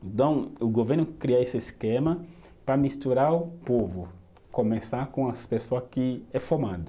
Então, o governo cria esse esquema para misturar o povo, começar com as pessoa que é formada